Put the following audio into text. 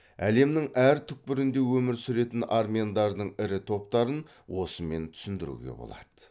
әлемнің әр түкпірінде өмір сүретін армяндардың ірі топтарын осымен түсіндіруге болады